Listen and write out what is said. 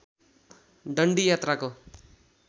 दन्डी यात्राको